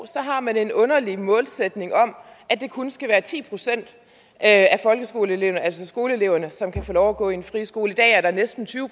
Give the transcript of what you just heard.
man har en underlig målsætning om at det kun skal være ti procent af skoleeleverne af skoleeleverne som kan få lov at gå i en friskole i dag er næsten tyve